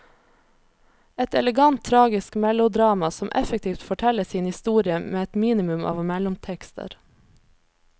Et elegant tragisk melodrama, som effektivt forteller sin historie med et minimum av mellomtekster.